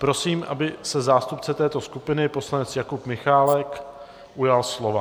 Prosím, aby se zástupce této skupiny poslanec Jakub Michálek ujal slova.